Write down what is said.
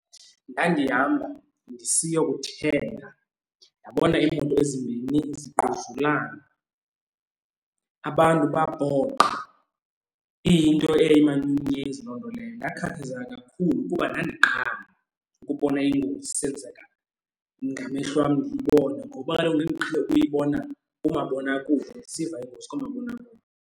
Ndandihamba ndisiyokuthenga ndabona iimoto ezimbini zingquzulana. Abantu bapoqa iyinto emanyumnyezi loo nto leyo. Ndakhathazeka kakhulu kuba ndandiqala ukubona ingozi isenzeka ngamehlo wam ndiyibone ngoba kaloku ndandiqhele uyibona kumabonakude ndisiva iingozi koomabonakude.